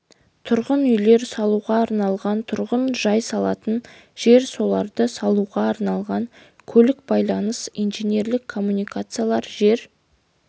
тұрғын үйлер салуға арналған тұрғын жай салатын жер соларды салуға арналған көлік байланыс инженерлік коммуникациялар жер